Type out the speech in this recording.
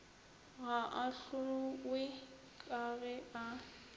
ga ahlowe ka ge a